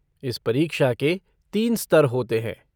इस परीक्षा के तीन स्तर होते हैं।